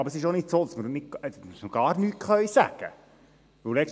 Aber es ist auch nicht so, dass wir gar nichts sagen können.